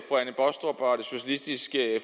socialistisk